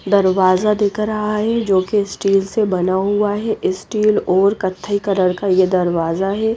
दरवाजा दिख रहा है जो की स्टील से बना हुआ है स्टील और कत्थई कलर का ये दरवाजा है।